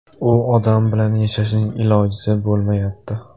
U odam bilan yashashning ilojisi bo‘lmayapti.